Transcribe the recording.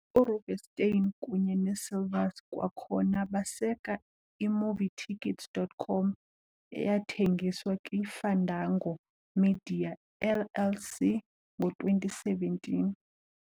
URubenstein kunye neeSilvers kwakhona baseka i-Movietickets.com eyathengiswa kwiFandango Media, LLC ngo-2017.